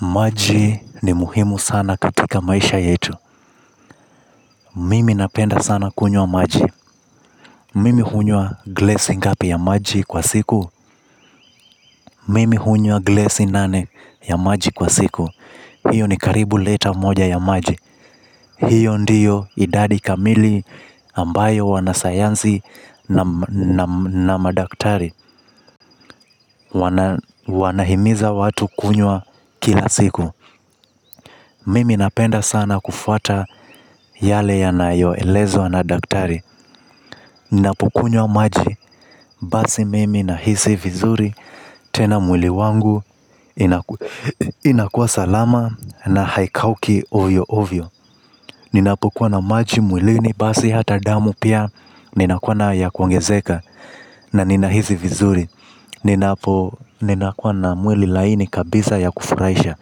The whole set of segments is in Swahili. Maji ni muhimu sana katika maisha yetu. Mimi napenda sana kunywa maji. Mimi hunywa glesi ngapi ya maji kwa siku. Mimi hunywa glesi nane ya maji kwa siku. Hiyo ni karibu lita moja ya maji. Hiyo ndiyo idadi kamili ambayo wanasayansi na madaktari wanahimiza watu kunywa kila siku. Mimi napenda sana kufuata yale yanayoelezwa na daktari. Ninapokunywa maji basi mimi nahisi vizuri. Tena mwili wangu inakuwa salama na haikauki oyo ovyo ninapukuwa na maji mwilini. Basi hata damu pia ninakuwa nayo ya kuongezeka. Na ninahisi vizuri ninapo ninakuwa na mwili laini kabisa ya kufurahisha.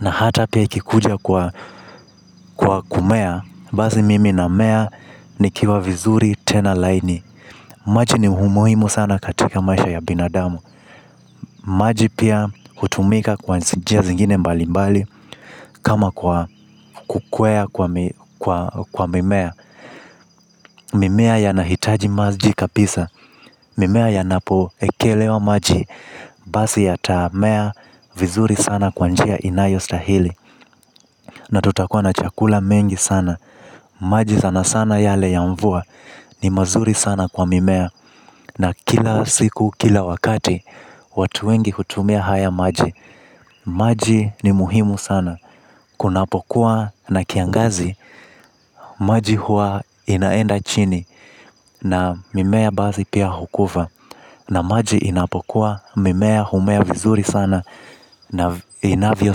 Na hata pia ikikuja kwa kumea, basi mimi na mea ni kiwa vizuri tena laini. Maji ni umuhimu sana katika maisha ya binadamu. Maji pia hutumika kwa njia zingine mbali mbali kama kwa kukwea kwa mimea. Mimea yanahitaji maji kabisa. Mimea yanapoekelewa maji. Basi yatamea vizuri sana kwa njia inayostahili. Na tutakuwa na chakula mengi sana. Maji sana sana yale ya mvua ni mazuri sana kwa mimea. Na kila siku, kila wakati, watu wengi hutumia haya maji. Maji ni muhimu sana. Kunapokuwa na kiangazi, maji huwa inaenda chini. Na mimea basi pia hukufa. Na maji inapokuwa, mimea humea vizuri sana na inavyo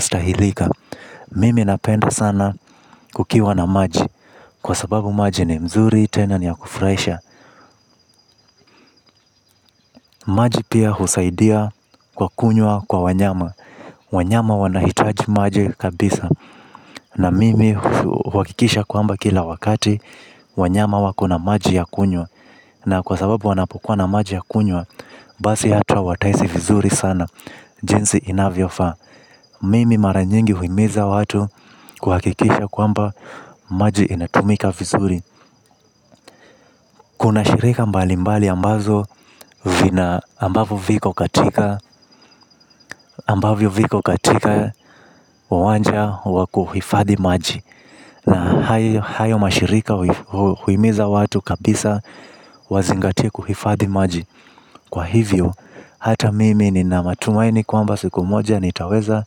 stahilika. Mimi napenda sana kukiwa na maji. Kwa sababu maji ni mzuri tena ni ya kufurahisha. Maji pia husaidia kwa kunywa kwa wanyama. Wanyama wanahitaji maji kabisa. Na mimi huhakikisha kwamba kila wakati wanyama wako na maji ya kunywa. Na kwa sababu wanapokuwa na maji ya kunywa basi hata watahisi vizuri sana. Jinsi inavyofaa. Mimi mara nyingi huhimiza watu kuhakikisha kwamba maji inatumika vizuri. Kuna shirika mbali mbali ambazo vina ambavyo viko katika ambavyo viko katika uwanja wa kuhifadhi maji na hayo mashirika huimiza watu kabisa wazingatie kuhifadhi maji kwa hivyo hata mimi nina matumaini kwamba siku moja nitaweza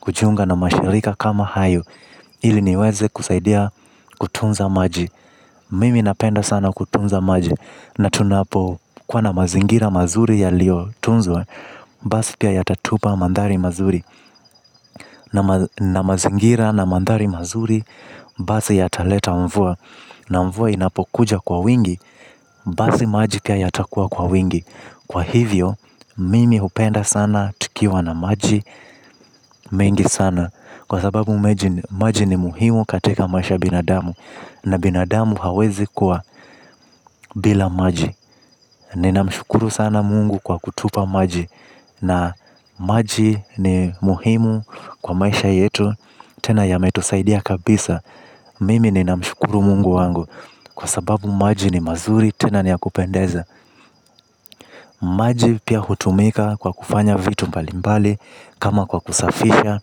kujiunga na mashirika kama hayo ili niweze kusaidia kutunza maji mimi napenda sana kutunza maji na tunapokuwa na mazingira mazuri yaliyotunzwa basi pia yatatupa mandhari mazuri. Na mazingira na mandhari mazuri, basi yataleta mvua. Na mvua inapokuja kwa wingi, basi maji pia yatakuwa kwa wingi kwa hivyo, mimi hupenda sana tukiwa na maji mengi sana. Kwa sababu maji ni muhimu katika maisha ya binadamu. Na binadamu hawezi kuwa bila maji. Nina mshukuru sana mungu kwa kutupa maji. Na maji ni muhimu kwa maisha yetu. Tena yametusaidia kabisa. Mimi ninamshukuru mungu wangu. Kwa sababu maji ni mazuri. Tena ni ya kupendeza. Maji pia hutumika kwa kufanya vitu mbali mbali kama kwa kusafisha.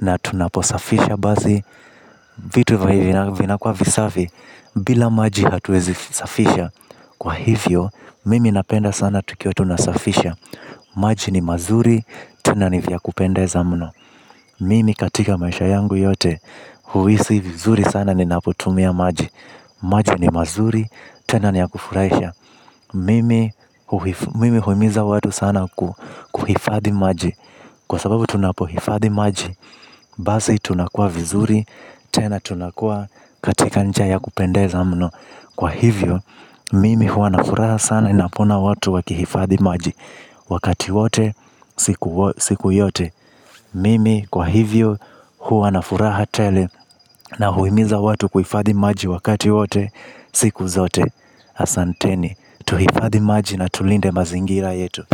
Na tunaposafisha basi vitu vinakuwa visafi. Bila maji hatuwezi safisha. Kwa hivyo mimi napenda sana tukiwa tunasafisha. Maji ni mazuri. Tena ni vya kupendeza mno. Mimi katika maisha yangu yote huhisi vizuri sana ninapotumia maji. Maji ni mazuri. Tena ni ya kufurahisha. Mimi huhimiza watu sana kuhifadhi maji. Kwa sababu tunapohifadhi maji basi tunakuwa vizuri. Tena tunakuwa katika njia ya kupendeza mno. Kwa hivyo mimi huwa na furaha sana ninapoona watu wakihifadhi maji wakati wote siku yote. Mimi kwa hivyo huwa na furaha tele. Na huimiza watu kuhifadhi maji wakati wote. Siku zote. Asanteni. Tuhifadhi maji na tulinde mazingira yetu.